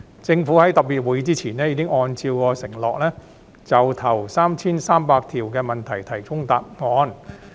政府在特別會議前已按照其承諾，就首 3,300 條問題提供答覆。